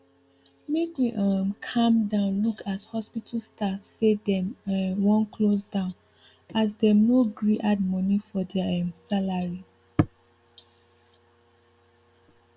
make we um calm down look as hospital staff say dem um wan close down as dem no gree add money for deir um salary